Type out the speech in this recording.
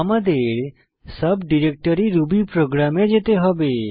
আমাদের sub directory Ruby program এ যেতে হবে